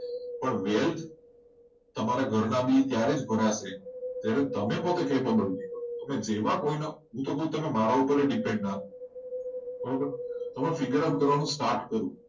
પણ તમારા ઘરના ભી આયા ત્યારે દ્વારા છે જ્યારે તમે કેપેબલ થશે હોઈ શકે તમે મારા પર પણ depend ના થવાય તમે figure કરવાનું start કરો.